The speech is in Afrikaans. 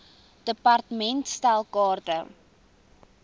department stel kaarte